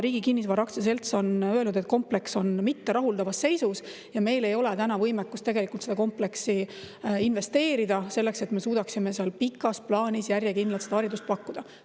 Riigi Kinnisvara Aktsiaselts on öelnud, et kompleks on mitterahuldavas seisus, ja meil ei ole võimekust sinna kompleksi investeerida selleks, et me suudaksime seal pikas plaanis järjekindlalt haridust pakkuda.